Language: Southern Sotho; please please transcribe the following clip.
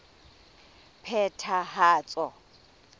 phethahatso